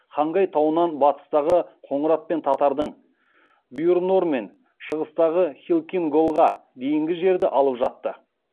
хангай тауынан батыстағы қоңырат пен татардың бұйыр нор мен шығыстағы халкин голға дейінгі жерді алып жатты